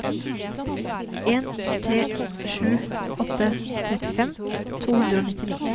en tre sju åtte trettifem to hundre og nittini